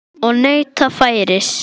Og neyta færis.